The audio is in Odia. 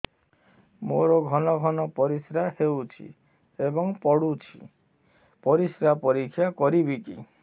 ମୋର ଘନ ଘନ ପରିସ୍ରା ହେଉଛି ଏବଂ ପଡ଼ୁଛି ପରିସ୍ରା ପରୀକ୍ଷା କରିବିକି